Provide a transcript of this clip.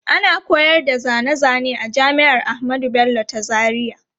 Ana koyar da zane zane a jami'ar Ahmadu Bello ta Zaria.